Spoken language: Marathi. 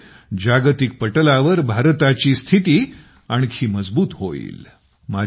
यामुळे जागतिक पटलावर भारताची स्थिती आणखी मजबूत होईल